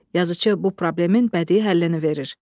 Yazıçı bu problemin bədii həllini verir.